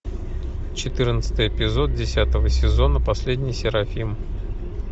четырнадцатый эпизод десятого сезона последний серафим